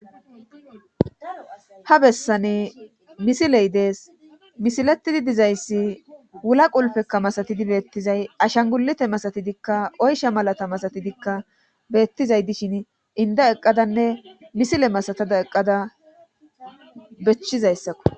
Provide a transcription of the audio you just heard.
ha bessane misiley dees misiletidi dizayssi wulaqulfekka masatidi beettizay ashangulete masatidikka oysha malata masatidikka beettizay dishin inda eqqadanne misile masatada eqqada bechchizayssakko